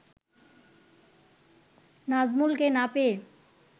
নাজমুলকে না পেয়ে